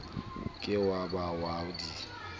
ke wa ba wa di